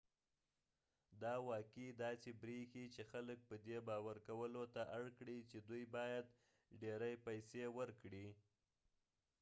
دا واقعي داسې بریښي چې خلک په دې باور کولو ته اړ کړي چې دوی باید ډیرې پیسې ورکړي